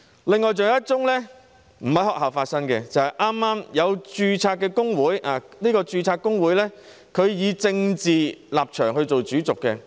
此外，還有一宗個案不是在學校發生，剛剛有註冊工會以政治立場為主軸，